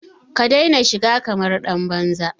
Ka daina shiga kamar ɗan banza!